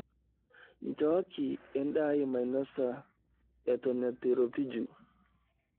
Nchooki endaa ai mainosa eton etu eiropiju.